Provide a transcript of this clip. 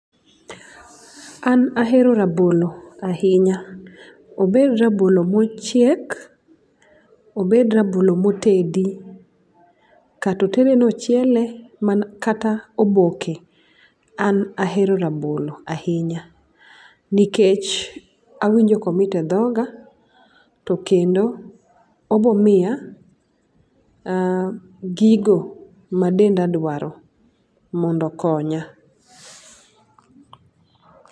An aero rabolo ainya. Obed rabolo mochiek, obed rabolo motedi kata otede nochiele kata oboke an aero rabolo ainya nikech awinjo komit e dhoga to kendo obomiya gigo ma denda dwaro mondo okonya.